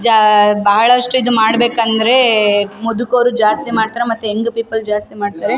ಜಾಹ್ಹ್ ಬಹಳಷ್ಟು ಇದ್ ಮಾಡ್ಬೇಕಂದ್ರೆ ಮುದುಕರು ಜಾಸ್ತಿ ಮಾಡ್ತಾರೆ ಮತ್ತೆ ಯಂಗ್ ಪೀಪಲ್ ಜಾಸ್ತಿ ಮಾಡ್ತಾರೆ.